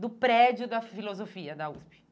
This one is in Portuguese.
do prédio da filosofia da USP.